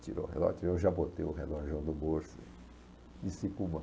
Ele tirou o relógio, eu já botei o relógio do bolso, desci para o banco.